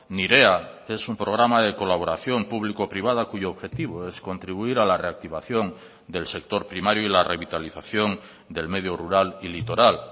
nirea es un programa de colaboración público privada cuyo objetivo es contribuir a la reactivación del sector primario y la revitalización del medio rural y litoral